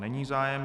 Není zájem.